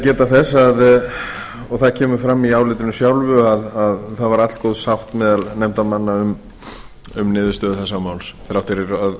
geta þess og það kemur fram í álitinu sjálfu að það var allgóð sátt meðal nefndarmanna um niðurstöðu þessa máls þrátt fyrir